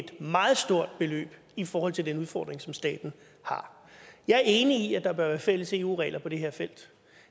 et meget stort beløb i forhold til den udfordring som staten har jeg er enig i at der bør være fælles eu regler på det her felt